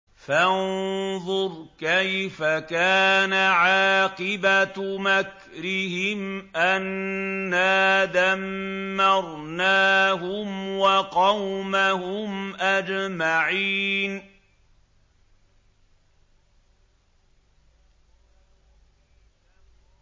فَانظُرْ كَيْفَ كَانَ عَاقِبَةُ مَكْرِهِمْ أَنَّا دَمَّرْنَاهُمْ وَقَوْمَهُمْ أَجْمَعِينَ